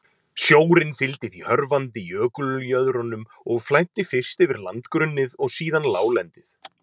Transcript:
Sjórinn fylgdi því hörfandi jökuljöðrunum og flæddi fyrst yfir landgrunnið og síðan láglendið.